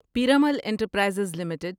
Piramal enterprises limited